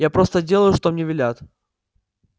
я просто делаю что мне велят